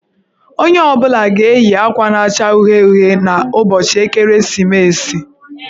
Onye ọ bụla ga-eyi akwa na-acha uhie uhie n'ụbọchị ekeresimesi.